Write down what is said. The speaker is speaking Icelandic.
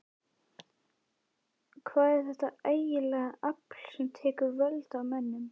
Hvað er þetta ægilega afl sem tekur völdin af mönnum?